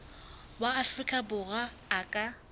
wa afrika borwa a ka